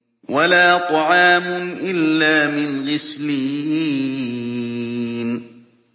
وَلَا طَعَامٌ إِلَّا مِنْ غِسْلِينٍ